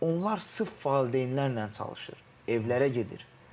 Onlar sırf valideynlərlə çalışır, evlərə gedir.